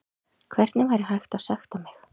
Hvernig væri hægt að sekta mig?